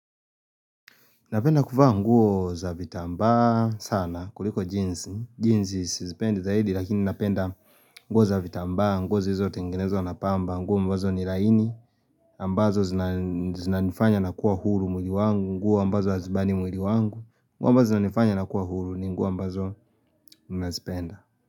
Napenda kuvaa nguo za vitamba sana kuliko jeans, jeans isizipende zaidi lakini napenda nguo za vitamba, nguo za hivyo tengenezo na pamba, nguo ambazo ni laini, nguo ambazo zinanifanya na kuwa huru mwili wangu, nguo ambazo hazibani mwili wangu, nguo ambazo za zinanifanya na kuwa huru ni nguo ambazo nazipenda.